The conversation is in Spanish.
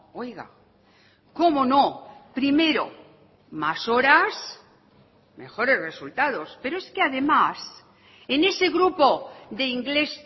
oiga cómo no primero más horas mejores resultados pero es que además en ese grupo de inglés